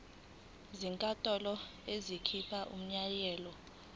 inkantolo ingakhipha umyalelo